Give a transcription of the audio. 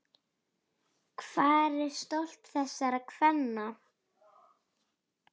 Hvar er stolt þessara kvenna?